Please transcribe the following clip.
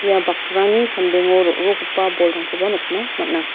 ia bakrani sambengo ro·rokgipa bolrangkoba nikna man·a.